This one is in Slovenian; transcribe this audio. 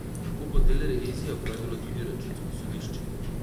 Tako bo del revizije opravilo tudi računsko sodišče.